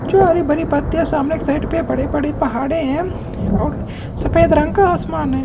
जो हरी भरी पत्तिया सामने एक साइड पे बड़े बड़े पहाडे है और सफ़ेद रंग का आसमान है।